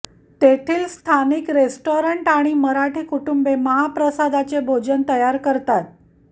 तेथील स्थानिक रेस्टॉरन्ट आणि मराठी कुटूंबे महाप्रसादाचे भोजन तयार करतात